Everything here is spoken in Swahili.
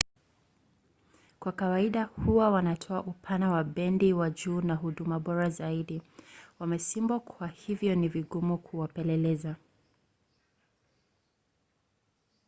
kwa kawaida huwa wanatoa upana wa bendi wa juu na huduma bora zaidi. wamesimbwa kwa hivyo ni vigumu kuwapeleleza